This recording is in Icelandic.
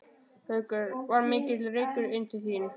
Haukur: Var mikill reykur inn til þín?